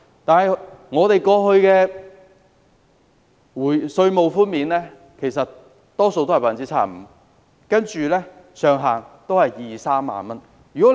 然而，本港過去的稅務寬免比率多數是 75%， 上限是兩三萬元。